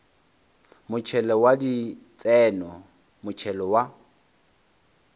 motšhelo wa ditseno motšhelo wa